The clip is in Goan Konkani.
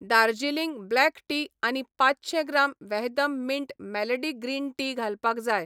दार्जिलिंग ब्लॅक टी आनी पांचशें gram Vahdam mint melody green tea घालपाक जाय.